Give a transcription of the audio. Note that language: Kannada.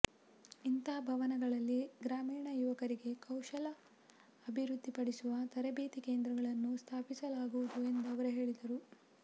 ಇಂಥ ಭವನಗಳಲ್ಲಿ ಗ್ರಾಮೀಣ ಯುವಕರಿಗೆ ಕೌಶಲ ಅಭಿವೃದ್ಧಿಪಡಿಸುವ ತರಬೇತಿ ಕೇಂದ್ರಗಳನ್ನು ಸ್ಥಾಪಿಸಲಾಗುವುದು ಎಂದು ಅವರು ಹೇಳಿದರು